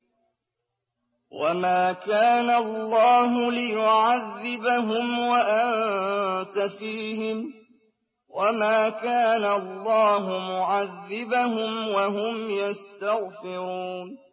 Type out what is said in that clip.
وَمَا كَانَ اللَّهُ لِيُعَذِّبَهُمْ وَأَنتَ فِيهِمْ ۚ وَمَا كَانَ اللَّهُ مُعَذِّبَهُمْ وَهُمْ يَسْتَغْفِرُونَ